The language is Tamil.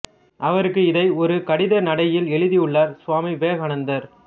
அவருக்கு இதை ஒரு கடித நடையில் எழுதியுள்ளார் சுவாமி விவேகானந்தர்